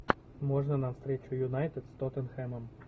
можно нам встречу юнайтед с тоттенхэмом